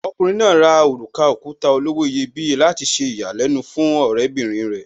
Okùnrin náà rà òrùka òkuta olówó iyebíye láti ṣe ìyàlẹ́nu fún ọ̀rẹ́bìrin rẹ̀.